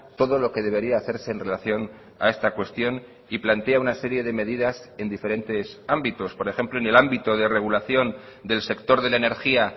todo lo que debería hacerse en relación a esta cuestión y plantea una serie de medidas en diferentes ámbitos por ejemplo en el ámbito de regulación del sector de la energía